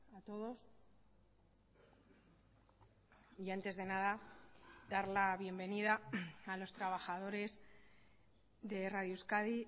a todos y antes de nada dar la bienvenida a los trabajadores de radio euskadi